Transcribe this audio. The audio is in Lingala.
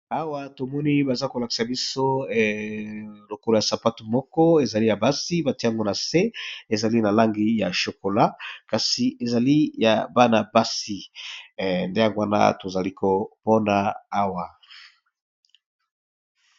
Awa tomoni baza kolakisa biso lokolo ya sapatu moko ezali ya basi batiango na se ezali na langi ya chokola kasi ezali ya bana basi nde yango wana tozali komona awa.